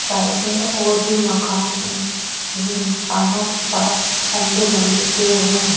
Side में और भी मकान है जिन मकानों के पास लंबे-लंबे पेड़ हैं।